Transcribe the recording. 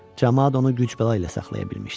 Camaat onu güclə ilə saxlaya bilmişdi.